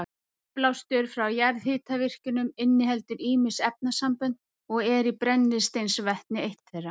Útblástur frá jarðhitavirkjunum inniheldur ýmis efnasambönd og er brennisteinsvetni eitt þeirra.